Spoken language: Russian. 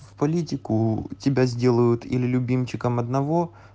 в политику тебя сделают или любимчиком одного